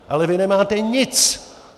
Ale vy nemáte nic.